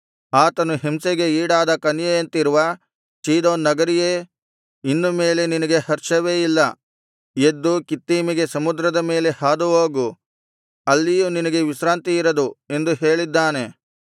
ಆತನು ಹಿಂಸೆಗೆ ಈಡಾದ ಕನ್ಯೆಯಂತಿರುವ ಚೀದೋನ್ ನಗರಿಯೇ ಇನ್ನು ಮೇಲೆ ನಿನಗೆ ಹರ್ಷವೇ ಇಲ್ಲ ಎದ್ದು ಕಿತ್ತೀಮಿಗೆ ಸಮುದ್ರದ ಮೇಲೆ ಹಾದುಹೋಗು ಅಲ್ಲಿಯೂ ನಿನಗೆ ವಿಶ್ರಾಂತಿ ಇರದು ಎಂದು ಹೇಳಿದ್ದಾನೆ